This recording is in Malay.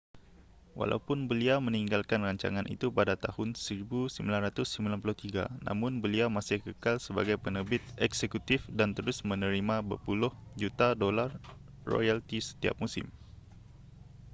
walaupun beliau meninggalkan rancangan itu pada tahun 1993 namun beliau masih kekal sebagai penerbit eksekutif dan terus menerima berpuluh juta dolar royalti setiap musim